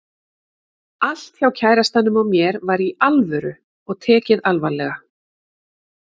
Allt hjá kærastanum og mér var Í ALVÖRU og tekið alvarlega.